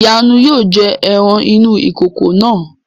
ìyànú yóò jẹ ẹran inú ìkòkò náà